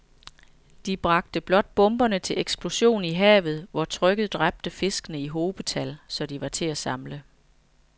De bragte blot bomberne til eksplosion i havet, hvor trykket dræbte fiskene i hobetal, så de var til at samle